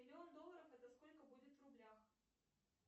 миллион долларов это сколько будет в рублях